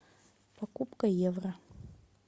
покупка евро